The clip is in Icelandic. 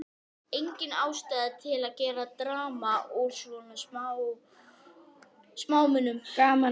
Á síðasta eina og hálfa árinu hafði Grettir að sögn